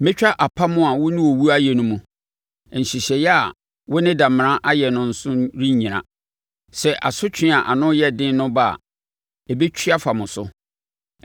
Mɛtwa apam a wo ne owuo ayɛ no mu; nhyehyɛeɛ a wo ne damena ayɛ no nso rennyina. Sɛ asotwe a ano yɛ den no ba a, ɛbɛtwi afa mo so.